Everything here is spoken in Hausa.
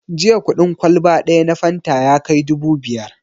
Jiya kuɗin kwalba ɗaya na fanta ya kai dubu biyar